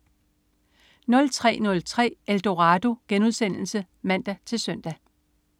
03.03 Eldorado* (man-søn)